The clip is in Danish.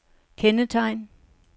kendetegn